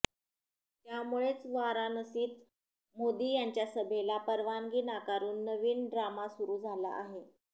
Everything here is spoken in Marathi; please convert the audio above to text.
त्यामुळेच वाराणसीत मोदी यांच्या सभेला परवानगी नाकारून नवीन ड्रामा सुरू झाला आहे